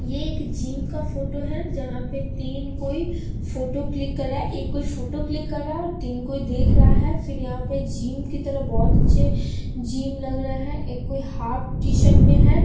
ये एक जिम का फोटो है जहां पे तीन कोई फोटो क्लिक कर रहा है एक कोई फोटो क्लिक कर रहा है और तीन कोई देख रहा है फिर यहाँ पे जिम की तरह बहुत अच्छे जिम लग रहे हैं एक कोई हाफ टी-सर्ट में हैं।